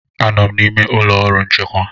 Anọ m n'ime ụlọ ọrụ nchịkwa.